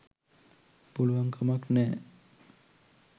පුළුවන්කමක් නෑ.